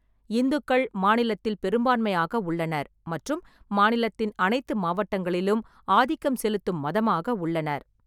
இந்துக்கள் மாநிலத்தில் பெரும்பான்மையாக உள்ளனர் மற்றும் மாநிலத்தின் அனைத்து மாவட்டங்களிலும் ஆதிக்கம் செலுத்தும் மதமாக உள்ளனர்.